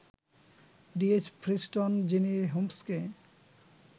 D. H. Friston — যিনি হোমসকে